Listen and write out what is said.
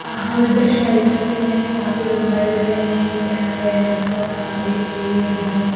हम दृश्य मे देख सकते है यहां पे लोग दिखाई दे रहे है एक कैंट है यहां पे बहुत सारे पेड़ है।